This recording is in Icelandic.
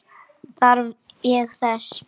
Þarf ég þess?